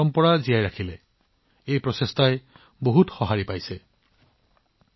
বন্ধুসকল এটা সৰু প্ৰচেষ্টা আনকি এটা সৰু পদক্ষেপেও আমাৰ সমৃদ্ধ কলাৰ সংৰক্ষণত যথেষ্ট অৰিহণা যোগাব পাৰে